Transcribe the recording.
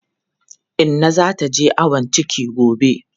Inna za ta je ayon ciki gobe.